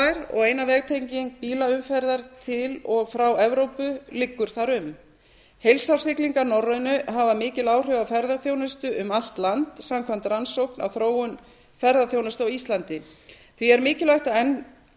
eina vegtenging bílaumferðar til og frá evrópu liggur þar um heilsárssiglingar nærri á hafa mikil áhrif á ferðaþjónusta um allt land samkvæmt rannsókn á þróun ferðaþjónustu á íslandi því er mikilvægt